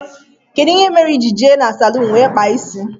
Kedụ ihe mere ijiri jee n' salun wee kpaa isi?